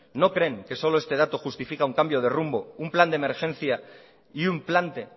no creen que solo este dato justifica un cambio de rumbo un plan de emergencia y un plante